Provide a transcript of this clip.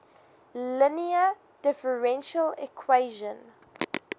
linear differential equation